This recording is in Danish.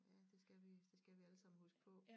Ja det skal det skal vi alle sammen huske på